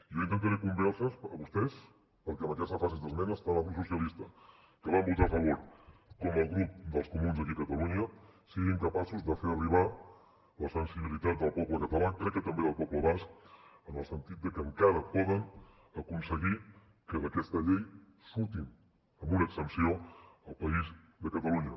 jo intentaré convèncer los a vostès perquè en aquesta fase d’esmenes tant el grup socialistes que van votar a favor com el grup dels comuns aquí a catalunya siguin capaços de fer arribar la sensibilitat del poble català crec que també del poble basc en el sentit de que encara poden aconseguir que d’aquesta llei surti amb una exempció al país de catalunya